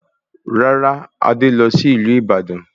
Rárá, Adé lọ sí ìlú Ìbàdàn